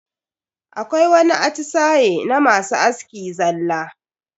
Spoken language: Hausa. Akwai wani atisaye na masu aski zalla.